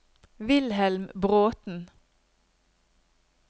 Wilhelm Bråten